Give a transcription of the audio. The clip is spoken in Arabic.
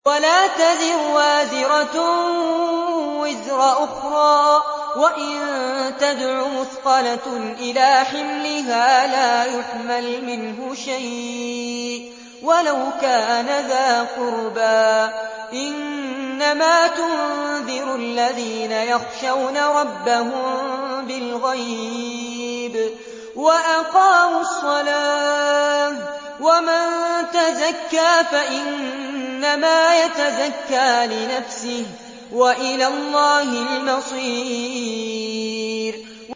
وَلَا تَزِرُ وَازِرَةٌ وِزْرَ أُخْرَىٰ ۚ وَإِن تَدْعُ مُثْقَلَةٌ إِلَىٰ حِمْلِهَا لَا يُحْمَلْ مِنْهُ شَيْءٌ وَلَوْ كَانَ ذَا قُرْبَىٰ ۗ إِنَّمَا تُنذِرُ الَّذِينَ يَخْشَوْنَ رَبَّهُم بِالْغَيْبِ وَأَقَامُوا الصَّلَاةَ ۚ وَمَن تَزَكَّىٰ فَإِنَّمَا يَتَزَكَّىٰ لِنَفْسِهِ ۚ وَإِلَى اللَّهِ الْمَصِيرُ